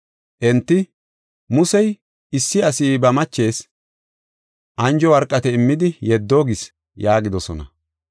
Enti, “Musey, ‘Issi asi ba machees anjo worqate immidi yeddo’ gis” yaagidosona.